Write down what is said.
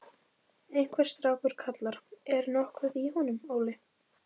Einhver strákur kallar: Er nokkuð í honum, Óli?